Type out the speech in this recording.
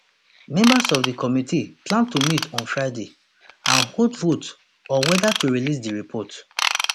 members of di committee plan to meet on friday and hold vote on weda to release di report